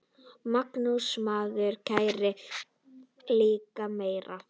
Magnús: Maður lærir líka meira.